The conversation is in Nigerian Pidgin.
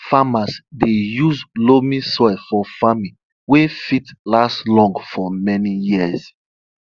farmers dey use loamy soil for farming wey fit last long for many years